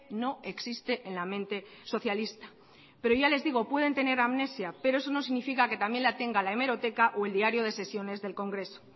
no existe en la mente socialista pero ya les digo pueden tener amnesia pero eso no significa que también la tenga la hemeroteca o el diario de sesiones del congreso